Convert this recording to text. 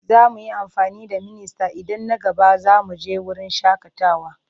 Za mu yi amfani da ministan idan na gaba za mu je wurin shakatawa.